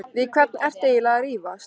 Við hvern ertu eiginlega að rífast?